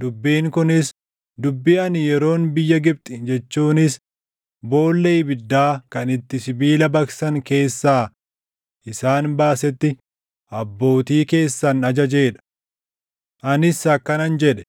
Dubbiin kunis dubbii ani yeroon biyya Gibxi jechuunis boolla ibiddaa kan itti sibiila baqsan keessaa isaan baasetti abbootii keessan ajajee dha.’ Anis akkanan jedhee,